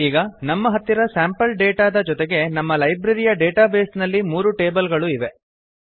ಈಗ ನಮ್ಮ ಹತ್ತಿರ ಸ್ಯಾಂಪಲ್ ಡೇಟಾದ ಜೊತೆಗೆ ನಮ್ಮ ಲೈಬ್ರರಿಯ ಡೇಟಾಬೇಸ್ ನಲ್ಲಿ ಮೂರು ಟೇಬಲ್ ಗಳೂ ಇವೆ